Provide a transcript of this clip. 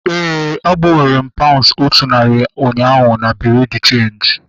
Éè, a gbanwere m paunds otu narị ụnyaahụ na bureau de cheenji